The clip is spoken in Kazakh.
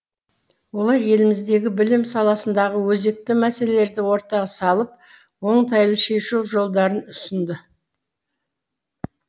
олар еліміздегі білім саласындағы өзекті мәселелерді ортаға салып оңтайлы шешу жолдарын ұсынды